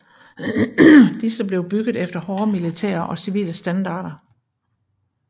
Disse blev bygget efter både militære og civile standarder